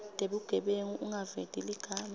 tebugebengu ungaveti ligama